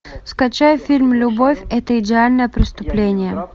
скачай фильм любовь это идеальное преступление